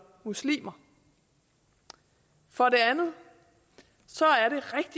muslimer for det andet